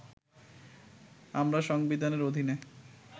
আমরা সংবিধানের অধীনে